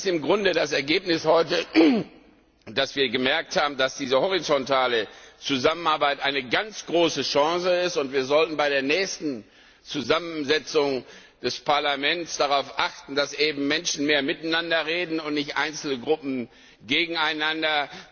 Im Grunde ist das heutige Ergebnis, dass wir gemerkt haben, dass diese horizontale Zusammenarbeit eine ganz große Chance ist, und wir sollten bei der nächsten Zusammensetzung des Parlaments darauf achten, dass Menschen mehr miteinander sprechen und nicht einzelne Gruppen gegeneinander.